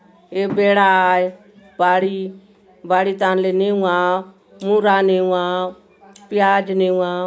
ए बेडा आय बाड़ी बाड़ी थान ले नेउआव मुरा नेउआव प्याज नेउआव --